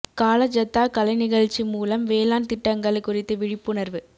கால ஜத்தா கலை நிகழ்ச்சி மூலம் வேளாண் திட்டங்கள் குறித்து விழிப்புணர்வு